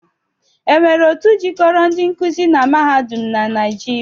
E nwere otu jikoro ndi nkuzi na mahadum naịjịria?